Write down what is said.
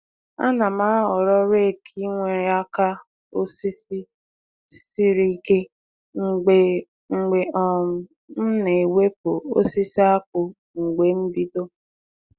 A na m ahọrọ rake nwere aka osisi siri ike mgbe mgbe um m na-ewepụ osisi akpụ mgbe mbido.